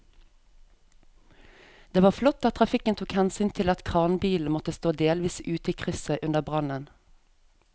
Det var flott at trafikken tok hensyn til at kranbilen måtte stå delvis ute i krysset under brannen.